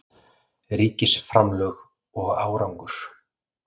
Ríkisframlög og árangur